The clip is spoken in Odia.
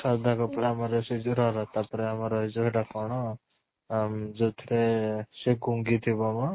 ଶ୍ରଦ୍ଧା କପୂର ଆମର ସେଇ ଯୋଉ ରହ ରହ ତା ପରେ ଆମର ଏଇ ଜାଗା ଟା କ'ଣ ଅମ ଯୋଉଥିରେ ସେ ଗୂଂଗୀ ଥିବ ମ